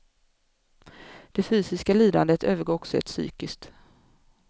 Det fysiska lidandet övergår också i ett psykiskt.